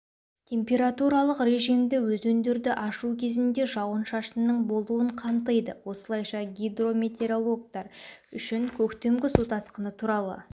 температуралық режимді өзендерді ашу кезінде жауын-шашынның болуын қамтиды осылайша гидрометеорологтар үшін көктемгі су тасқыны туралы